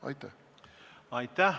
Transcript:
Aitäh!